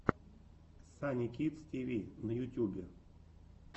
санни кидс ти ви на ютьюбе